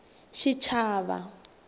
xichava